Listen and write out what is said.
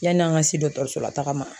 Yan'an ka se dɔgɔtɔrɔsolataga ma